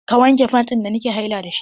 Ka wanke fant da nake haila dashi!